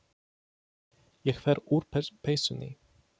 Ég fer úr peysunni.